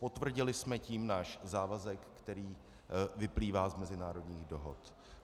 Potvrdili jsme tím náš závazek, který vyplývá z mezinárodních dohod.